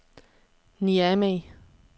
Niamey